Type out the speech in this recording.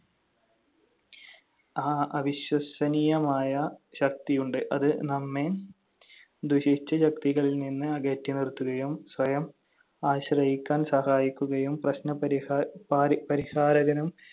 ആ അവിശ്വസനീയമായ ശക്തിയുണ്ട്. അത് നമ്മെ ദുഷിച്ച ശക്തികളിൽ നിന്ന് അകറ്റിനിർത്തുകയും സ്വയം ആശ്രയിക്കാൻ സഹായിക്കുകയും പ്രശ്നപരിഹാര~ പാരി~ പരിഹാരകനും